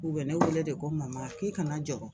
U bɛ ne wele de ko mama k'i kana jɔ